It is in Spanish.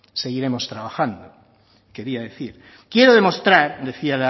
seguiremos trabajando quería decir quiero demostrar decía